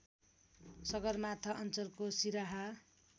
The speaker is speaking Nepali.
सगरमाथा अञ्चलको सिराहा